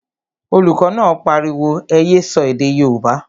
Olùkọ́ náà pariwo, ẹ yé sọ èdè yóòbá!